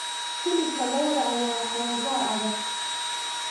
Hilibka lo'da ayaa xoogaa adag.